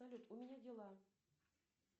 салют у меня дела